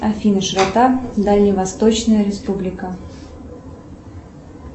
афина широта дальневосточная республика